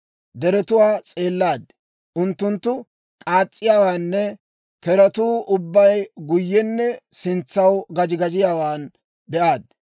Deretuwaa s'eellaaddi; unttunttu k'aas's'iyaawaanne zoozetuu ubbay guyyenne sintsaw gaji gajiyaawaa be'aaddi.